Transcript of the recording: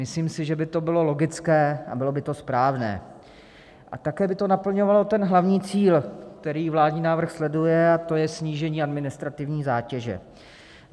Myslím si, že by to bylo logické a bylo by to správné a také by to naplňovalo ten hlavní cíl, který vládní návrh sleduje, a to je snížení administrativní zátěže.